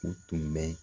U tun bɛ